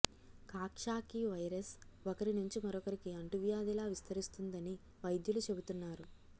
Coxsackie virus ఒకరి నుంచి మరొకరికి అంటువ్యాధిలా విస్తరిస్తుందని వైద్యులు చెబుతున్నారు